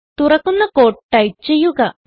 തുറക്കുന്ന cute type ചെയ്യുക